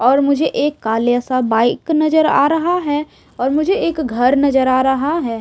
और मुझे एक काले सा बाइक नजर आ रहा है और मुझे एक घर नजर आ रहा है।